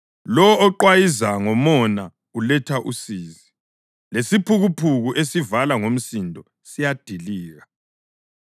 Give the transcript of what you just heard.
Lowo oqwayiza ngomona uletha usizi, lesiphukuphuku esivala ngomsindo siyadilika.